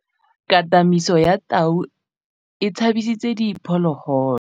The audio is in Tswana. Katamêlô ya tau e tshabisitse diphôlôgôlô.